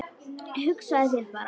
Hugsaðu þér bara.